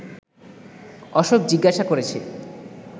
অশোক জিজ্ঞেস করেছে